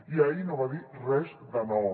i ahir no va dir res de nou